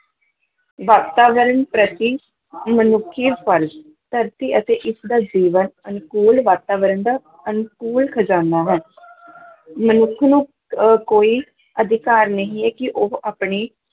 ਵਾਤਾਵਰਣ ਪ੍ਰਤੀ ਮਨੁੱਖੀ ਫ਼ਰਜ਼, ਧਰਤੀ ਅਤੇ ਇਸ ਦਾ ਜੀਵਨ ਅਨੁਕੂਲ ਵਾਤਾਵਰਨ ਦਾ ਅਨੁਕੂਲ ਖ਼ਜ਼ਾਨਾ ਹੈ ਮਨੁੱਖ ਨੂੰ ਅਹ ਕੋਈ ਅਧਿਕਾਰ ਨਹੀਂ ਹੈ ਕਿ ਉਹ ਆਪਣੇ